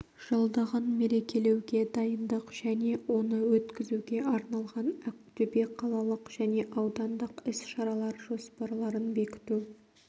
жылдығын мерекелеуге дайындық және оны өткізуге арналған ақтөбе қалалық және аудандық іс-шаралар жоспарларын бекіту